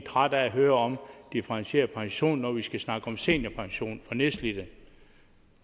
trætte af at høre om differentieret pension når vi skal snakke om seniorpension for nedslidte